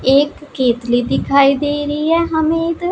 एक केतली दिखाई दे रहीं हैं हमें इधर।